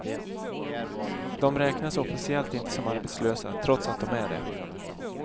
De räknas officiellt inte som arbetslösa, trots att de är det.